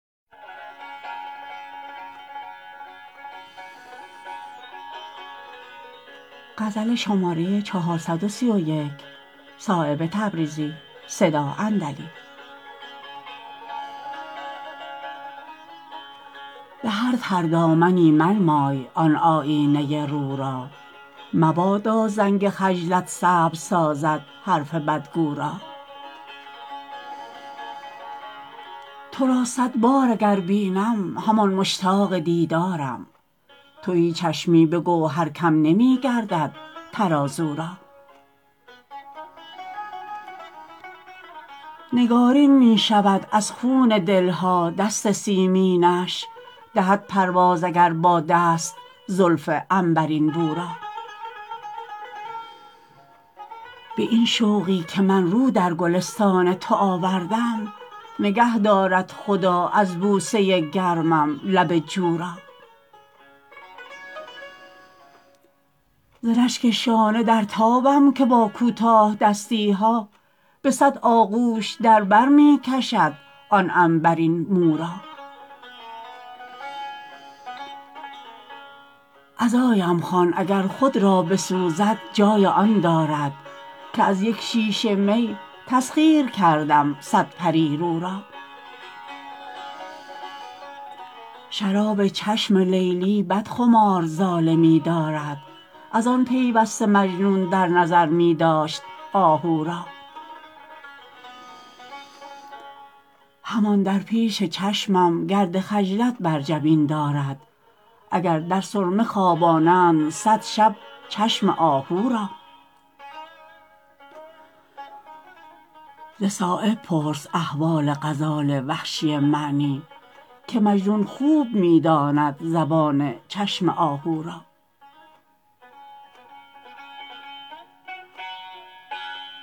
به هر تردامنی منمای آن آیینه رو را مبادا زنگ خجلت سبز سازد حرف بدگو را ترا صدبار اگر بینم همان مشتاق دیدارم تهی چشمی به گوهر کم نمی گردد ترازو را نگارین می شود از خون دلها دست سیمینش دهد پرداز اگر با دست زلف عنبرین بو را به این شوقی که من رو در گلستان تو آوردم نگه دارد خدا از بوسه گرمم لب جو را ز رشک شانه در تابم که با کوتاه دستی ها به صد آغوش در بر می کشد آن عنبرین مو را عزایم خوان اگر خود را بسوزد جای آن دارد که از یک شیشه می تسخیر کردم صد پریرو را شراب چشم لیلی بدخمار ظالمی دارد ازان پیوسته مجنون در نظر می داشت آهو را همان در پیش چشمش گرد خجلت بر جبین دارد اگر در سرمه خوابانند صد شب چشم آهو را ز صایب پرس احوال غزال وحشی معنی که مجنون خوب می داند زبان چشم آهو را